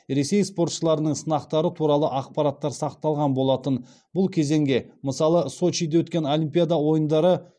ресей спортшыларының сынақтары туралы ақпараттар сақталған болатын бұл кезеңге мысалы сочиде өткен олимпиада ойындары